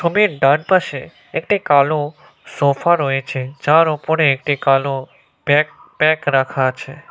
ছবির ডান পাশে একটি কালো সোফা রয়েছে। যার ওপরে একটি কালো ব্যাগ প্যাক রাখা আছে।